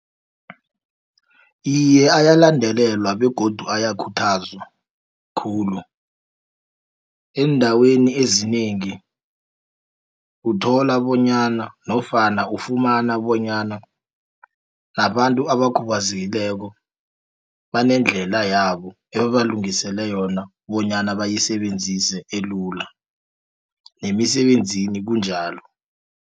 Iye, ayalandelelwa begodu ayakhuthazwa khulu, eendaweni ezinengi uthola bonyana, nofana ufumana bonyana nabantu abakhubazekileko banendlela yabo ebabalungisele yona bonyana bayisebenzise elula, nemisebenzini kunjalo.